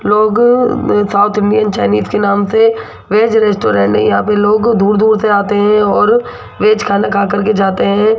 लोग south Indian Chinese के नाम से वेज रेस्टोरेंट यहां पर दूर दूर से आते हैं और वेज खाना खाकर जाते हैं।